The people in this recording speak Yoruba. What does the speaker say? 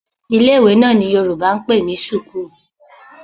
Ilé-ìwé náà ni Yorùbá ń pè ní sùkúù.